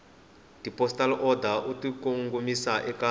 tipostal order u tikongomisa eka